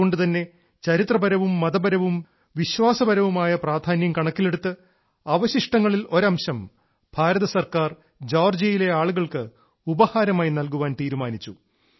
അതുകൊണ്ട് തന്നെ ചരിത്രപരവും മതപരവും വിശ്വാസപരവുമായ പ്രധാന്യം കണക്കിലെടുത്ത് അവശിഷ്ടങ്ങളിൽ ഒരംശം ഇന്ത്യാ ഗവൺമെന്റ് ജോർജിയയിലെ ആളുകൾക്ക് ഉപഹാരമായി നൽകാൻ തീരുമാനിച്ചു